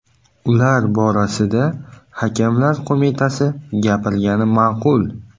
Ular borasida Hakamlar Qo‘mitasi gapirgani ma’qul.